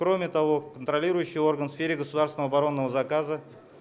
кроме того контролирующий орган в сфере государственного оборонного заказа